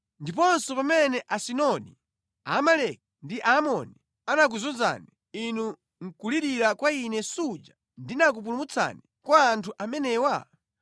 Ndiponso pamene Asidoni, Aamaleki ndi Amoni anakuzunzani, inu nʼkulirira kwa ine suja ndinakupulumutsani kwa anthu amenewa?